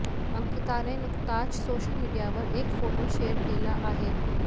अंकिताने नुकताच सोशल मिडियावर एक फोटो शेअर केला आहे